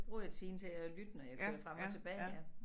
Bruger jeg tiden til at lytte når jeg kører frem og tilbage ja